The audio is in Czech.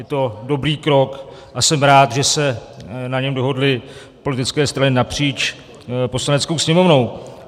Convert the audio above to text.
Je to dobrý krok a jsem rád, že se na něm dohodly politické strany napříč Poslaneckou sněmovnou.